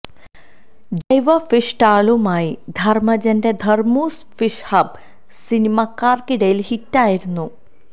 ജൈവ ഫിഷ് സ്റ്റാളുമായി ധര്മജന്റെ ധര്മൂസ് ഫിഷ് ഹബ്ബ് സിനിമാക്കാര്ക്കിടയില് ഹിറ്റായിരുന്നു